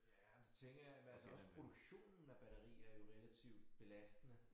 Ja men det tænker jeg men altså også produktionen af batteri er jo relativt belastende